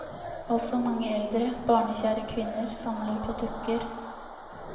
Også mange eldre, barnekjære kvinner samler på dukker.